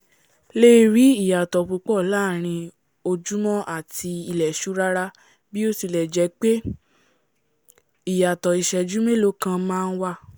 lè rí iyàtọ̀ púpọ̀ láàrin ojúmọ́ àti ilẹ̀ṣú rárá bí ó tilẹ̀ jẹ́ pé ìyàtọ̀ isẹ́jú mélòókan máa nwà